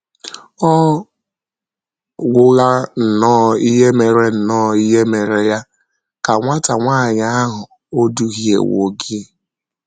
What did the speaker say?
“ Ọ̀ gwụla nnọọ ihe mere nnọọ ihe mere ya, ka nwata nwanyị ahụ ò duhiewo gị? ”